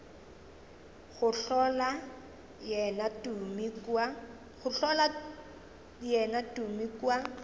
go hlola yena tumi kua